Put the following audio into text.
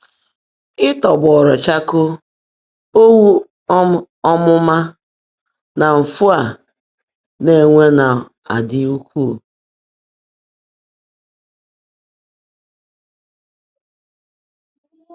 Ị́tọ́gbọ́ọ́rụ́ chákóó, ọ́wụ́ um ọ́mụ́má, nà mfú á ná-énwé ná-ádị́ ụ́kwúú.